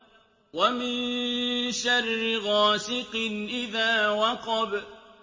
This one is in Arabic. وَمِن شَرِّ غَاسِقٍ إِذَا وَقَبَ